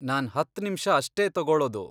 ನಾನ್ ಹತ್ತ್ ನಿಮ್ಷ ಅಷ್ಟೇ ತಗೊಳೋದು.